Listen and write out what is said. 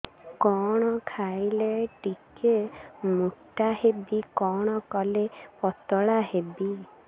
କଣ ଖାଇଲେ ଟିକେ ମୁଟା ହେବି କଣ କଲେ ପତଳା ହେବି